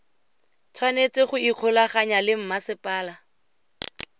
tshwanetse go ikgolaganya le masepala